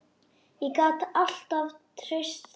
Ég gat alltaf treyst því.